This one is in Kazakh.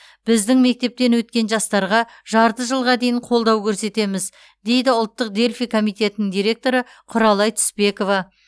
біздің мектептен өткен жастарға жарты жылға дейін қолдау көрсетеміз дейді ұлттық дельфий комитетінің директоры құралай түспекова